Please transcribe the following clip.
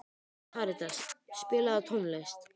Karítas, spilaðu tónlist.